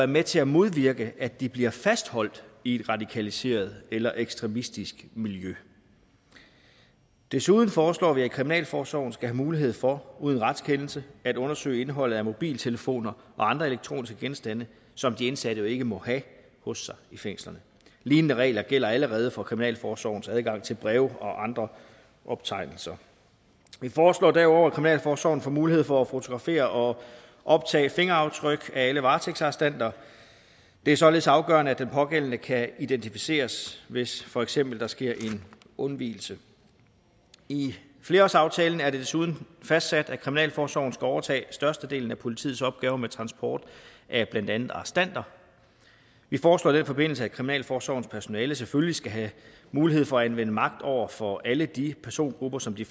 med til at modvirke at de bliver fastholdt i et radikaliseret eller ekstremistisk miljø desuden foreslår vi at kriminalforsorgen skal have mulighed for uden retskendelse at undersøge indholdet af mobiltelefoner og andre elektroniske genstande som de indsatte jo ikke må have hos sig i fængslerne lignende regler gælder allerede for kriminalforsorgens adgang til breve og andre optegnelser vi foreslår derudover at kriminalforsorgen får mulighed for at fotografere og optage fingeraftryk af alle varetægtsarrestanter det er således afgørende at den pågældende kan identificeres hvis for eksempel sker en undvigelse i flerårsaftalen er det desuden fastsat at kriminalforsorgen skal overtage størstedelen af politiets opgaver med transport af blandt andet arrestanter vi foreslår i den forbindelse at kriminalforsorgens personale selvfølgelig skal have mulighed for at anvende magt over for alle de persongrupper som de